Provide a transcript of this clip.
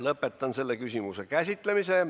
Lõpetan selle küsimuse käsitlemise.